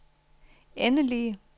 endelige